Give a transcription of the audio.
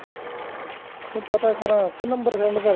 ਕੇ ਪਤਾ ਕਰਾਂ ਕੇ ਨੰਬਰ send ਕਰਦਾ